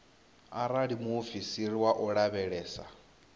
arali muofisiri wa u lavhelesa